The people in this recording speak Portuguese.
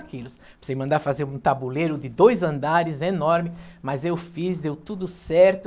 quilos. Precisei mandar fazer um tabuleiro de dois andares enorme, mas eu fiz, deu tudo certo.